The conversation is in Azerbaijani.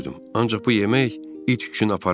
Ancaq bu yemək it üçün aparılmayıb.